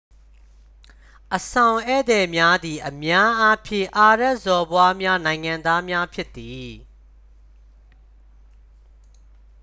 အဆောင်ဧည့်သည်များသည် အများအားဖြင့် အာရဗ်စော်ဘွားများ နိုင်ငံသားများဖြစ်သည်